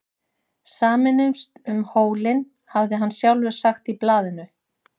Sameinumst um hólinn, hafði hann sjálfur sagt í blaðinu.